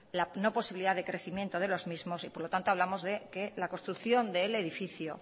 la no posibilidad de crecimiento de los mismos y por lo tanto hablamos de que la construcción del edificio